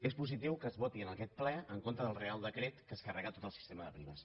és positiu que es voti en aquest ple en contra del reial decret que es carrega tot el sistema de primes